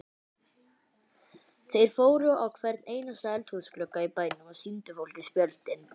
Þeir fóru á hvern einasta eldhúsglugga í bænum og sýndu fólki spjöldin.